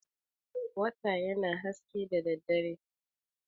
Wata yana haske da daddare.